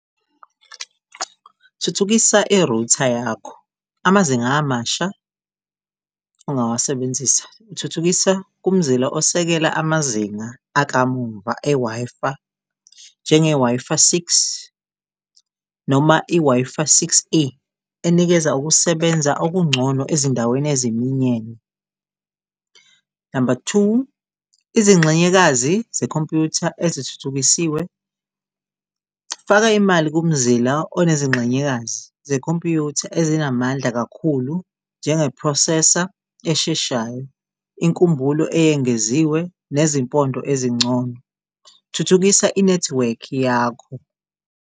Thuthukisa i-router yakho, amazinga amasha ongawasebenzisa, thuthukisa kumzila osekela amazinga. Akamumva e-Wi-Fi njenge-Wi-Fi six, noma i-Wi-Fi six E enikeza ukusebenza okungcono ezindaweni eziminyene. Number two, izingxenyekazi zekhompuyutha ezithuthukisiwe. Faka imali kumzila onezingxenyekazi ze-computer ezinamandla kakhulu njenge-processor esheshayo, inkumbulo eyengeziwe ngezimpondo ezingcono, thuthukisa inethiwekhi yakho.